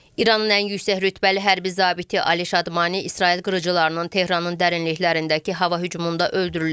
İranın ən yüksək rütbəli hərbi zabiti Ali Şadmani İsrail qırıcılığının Tehranın dərinliklərindəki hava hücumunda öldürülüb.